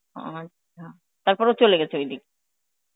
আচ্ছা তারপর ও চলে গেছে ঐ দিক?